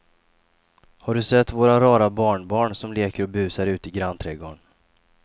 Har du sett våra rara barnbarn som leker och busar ute i grannträdgården!